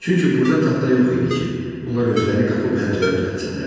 Çünki burda taxta yox idi ki, onlar özləri qapı pəncərə düzəltsinlər.